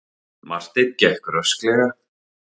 Marteinn gekk rösklega.